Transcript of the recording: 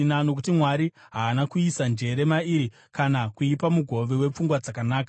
nokuti Mwari haana kuisa njere mairi kana kuipa mugove wepfungwa dzakanaka.